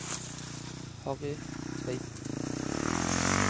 Harry Tveiten